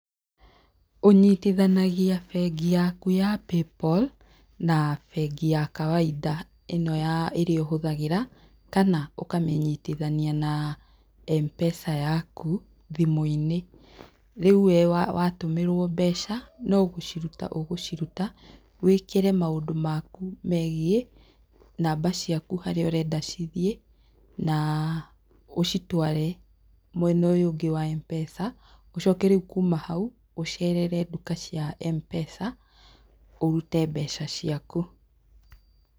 Ũnyitithanagia bengi yaku ya PayPal na bengi yaku ya kawaida, ĩno ya ĩrĩa ũhũthagĩra, kana ũkamĩnyitithania na M-pesa yaku thimũ-inĩ. Rĩu we watũmĩrwo mbeca, no gũciruta ũgũciruta wĩĩkĩre maũndũ maku megiĩ, namba ciaku harĩa ũrenda cithiĩ na ũcitware mwena ũyũ ũngĩ wa M-pesa, ũcoke rĩu kuuma hau, ũcerere nduka cia M-pesa, ũrute mbeca ciaku.